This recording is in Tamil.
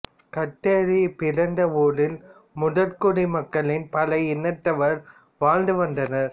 கத்தேரி பிறந்த ஊரில் முதற்குடி மக்களின் பல இனத்தவர் வாழ்ந்துவந்தனர்